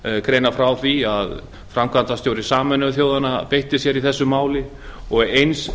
greina frá því að framkvæmdastjóri sameinuðu þjóðanna beitti sér í þessu máli og eins